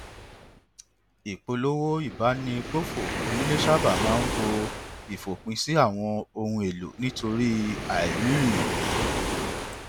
ìpolówó ìbánigbófò onílé sáábà máa ń bo ìfòpin sí àwọn ohun èlò nítorí àìrírì